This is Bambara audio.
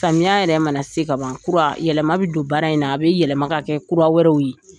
Samiya yɛrɛ mana se kaban kura, yɛlɛma be don baara in na, a be yɛlɛma k'a kɛ kura wɛrɛw ye.